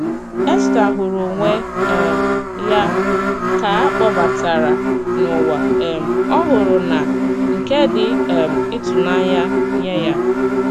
Èstà hụrụ onwe um ya ka a kpọbatara n’ụwà um ọhụrụ na nke dị um ịtụnanya nye ya.